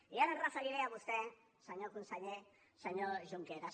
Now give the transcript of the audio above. i ara em referiré a vostè senyor conseller senyor junqueras